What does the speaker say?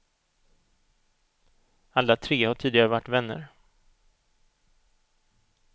Alla tre har tidigare varit vänner.